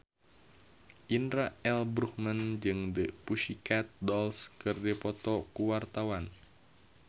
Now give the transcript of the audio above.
Indra L. Bruggman jeung The Pussycat Dolls keur dipoto ku wartawan